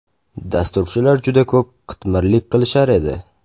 Dasturchilar juda ko‘p qitmirlik qilishar edi.